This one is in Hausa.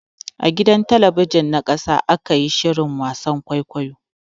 A gidan talabijin ta ƙasa ake yin shirin wasan kwaikwayon.